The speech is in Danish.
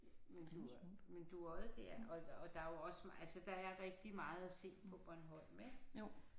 Men due men Dueodde der og og der er jo også altså der er rigtig at se på Bornholm ikke